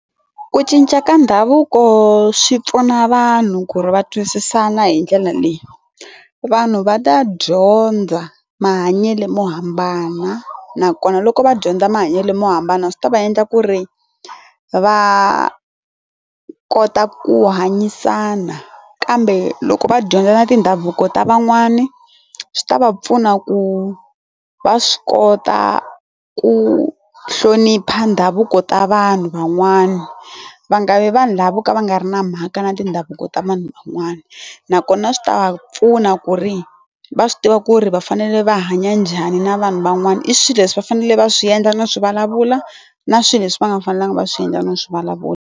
Ku cinca ka ndhavuko swi pfuna vanhu ku ri va twisisana hi ndlela leyi, vanhu va ta dyondza mahanyelo mo hambana nakona loko va dyondza mahanyelo mo hambana swi ta va endla ku ri va kota ku hanyisana kambe loko va dyondza na tindhavuko ta van'wani swi ta va pfuna ku va swi kota ku hlonipha ndhavuko ta vanhu van'wana va nga vi vanhu lava vo ka va nga ri na mhaka na tindhavuko ta vanhu van'wana nakona swi ta va pfuna ku ri va swi tiva ku ri va fanele va hanya njhani na vanhu van'wana i swilo leswi va fanele va swi endla no swi vulavula na swilo leswi va nga fanelanga va swi endla no swi vulavula.